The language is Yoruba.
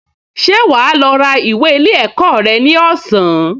Ṣé wà á lọ ra ìwé ilé ẹ̀kọ́ rẹ ní ọ̀sán?